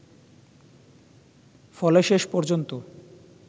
ফলে শেষ পর্যন্ত